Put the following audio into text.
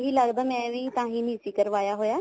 ਇਹੀ ਲੱਗਦਾ ਵੀ ਤਾਂਹੀ ਨੀ ਸੀ ਕਰਵਾਇਆ ਹੋਇਆ